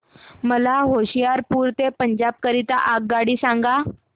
मला होशियारपुर ते पंजाब करीता आगगाडी सांगा